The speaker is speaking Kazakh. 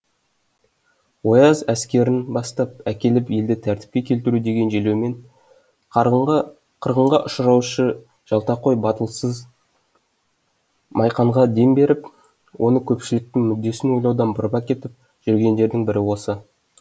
ояз әскерін бастап әкеліп елді тәртіпке келтіру деген желеумен қырғынға ұшыратушы жалтақой батылсыз майқанға дем беріп оны көпшіліктің мүддесін ойлаудан бұрып әкетіп жүргендердің бірі осы